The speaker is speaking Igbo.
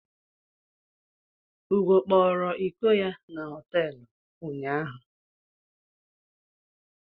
Ugo kpọrọ ịkọ ya na hotelu ụnyaahụ.